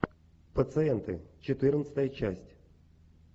пациенты четырнадцатая часть